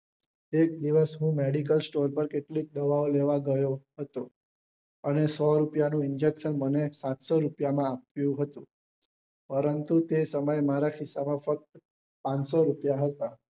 એક દિવસ હું medical store પર કેટલીક દવાઓ લેવા ગયો હતો અને સો રૂપિયા નું injection મને સાતસો રૂપિયા માં આપ્યું હતું પરંતુ તે સમયે મારા ખિસ્સા માં ફક્ત પાંચસો રૂપિયા હતા